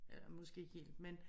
Eller måske ikke helt men